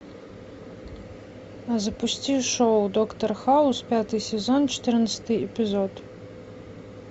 запусти шоу доктор хаус пятый сезон четырнадцатый эпизод